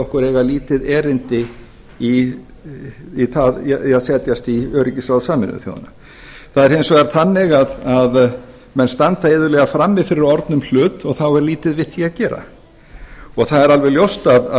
okkur eiga lítið erindi í að setjast í öryggisráð sameinuðu þjóðanna það er hins vegar þannig að menn standa iðulega frammi fyrir orðnum hlut og þá er lítið við því að gera það er alveg ljóst að